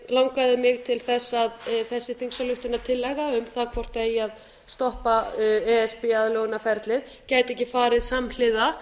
langaði mig til þess að þessi þingsályktunartillaga um það hvort það eigi að stoppa e s b aðlögunarferlið gæti ekki farið samhliða